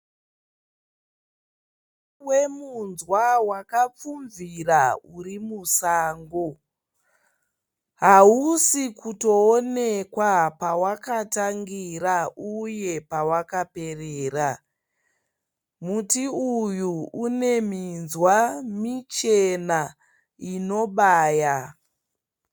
Muti wemunzwa wakapfumvira uri musango. Hausi kutoonekwa pawakatangira uye pawakaperera. Muti uyu une minzwa michena inobaya.